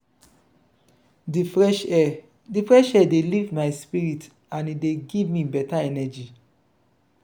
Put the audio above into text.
di fresh air di fresh air dey lift my spirit and e dey give me beta energy.